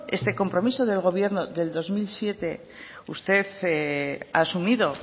este compromiso del gobierno del dos mil siete usted ha asumido